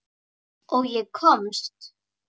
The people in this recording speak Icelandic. Og ég komst.